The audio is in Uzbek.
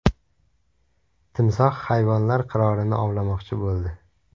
Timsoh hayvonlar qirolini ovlamoqchi bo‘ldi .